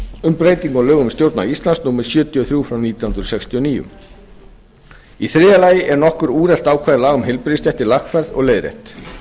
um breytingu á lögum um stjórnarráð íslands númer sjötíu og þrjú nítján hundruð sextíu og níu þriðja nokkur úrelt ákvæði laga um heilbrigðisstéttir eru lagfærð og leiðrétt